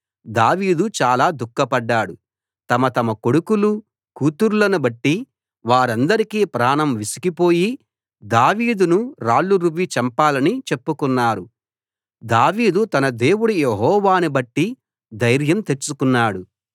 దావీదు చాలా దుఃఖపడ్డాడు తమ తమ కొడుకులూ కూతుర్లను బట్టి వారందరికీ ప్రాణం విసికి పోయి దావీదును రాళ్లు రువ్వి చంపాలని చెప్పుకున్నారు దావీదు తన దేవుడు యెహోవాను బట్టి ధైర్యం తెచ్చుకున్నాడు